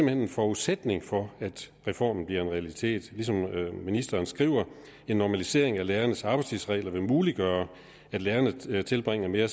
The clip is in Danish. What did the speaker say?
er en forudsætning for at reformen bliver en realitet ligesom ministeren skriver en normalisering af lærernes arbejdstidsregler vil muliggøre at lærerne tilbringer mere